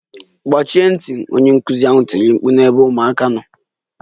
Gbachi nkịtị! Onye nkụzi ahụ tiri mkpu n'ebe ụmụaka nọ